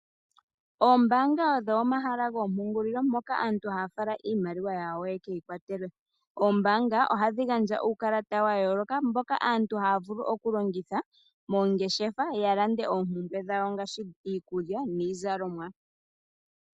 Oombaanga odho omahala gompungulilo mpoka aantu haya fala iimaliwa yawo yeke yi kwatelwe. Oombaanga oha dhi gandja uukalata wa yooloka, mboka aantu haya vulu oku longitha moongeshefa ya lande oompumbwe dhawo ngaashi iikulya nii zalomwa.